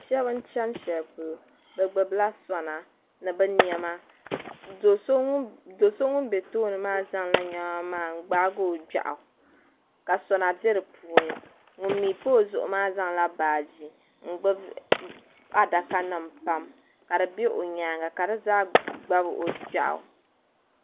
Sheba n cheni sheli polo bɛ gbibi la sona ni bɛ niɛma do'so ŋun be tooni maa zaŋla o niɛma maa n gbaagi o gbiaɣu ka sona be dipuuni ŋun mee pa o zuɣu maa zaŋla baaji n gbibi adaka nima pam ka di be o nyaanga ka di zaa gbabi o gbiaɣu.